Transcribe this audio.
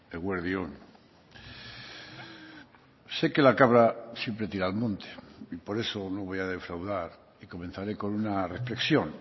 eguerdi on sé que la cabra siempre tira al monte y por eso no voy a defraudar y comenzaré con una reflexión